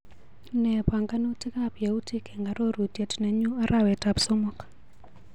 Nee panganutikap yautik eng arorutiet nenyuu arawetap somok.